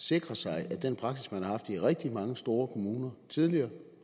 sikre sig at den praksis man har haft i rigtig mange store kommuner tidligere